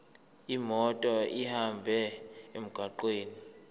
imoto ihambe emgwaqweni